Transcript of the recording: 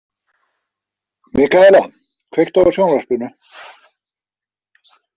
Mikaela, kveiktu á sjónvarpinu.